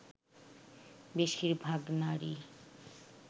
বেশির ভাগ নারী